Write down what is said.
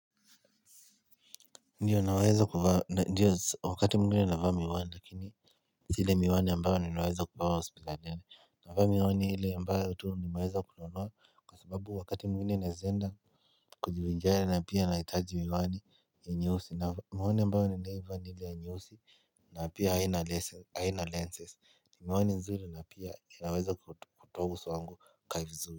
Ndiyo wakati mwingine navaa miwani lakini si ile miwani ambayo ninaweza kupewa hospitalini njene. Navaa miwani ile ambayo tu nimeweza kununua kwa sababu wakati mwingine naeza enda kujivinjari na pia nahitaji miwani ya nyeusi na miwani ambayo ninaivaa ni ile ya nyeusi. Na pia haina lenses ni miwani nzuri na pia inaweza kutoa uso wangu kaa vizuli.